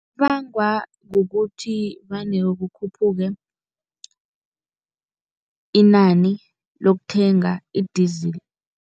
Kubangwa kukuthi vane kukhuphuke inani lokuthenga i-diesel.